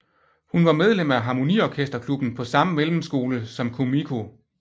Hun var medlem af harmoniorkesterklubben på samme mellemskole som Kumiko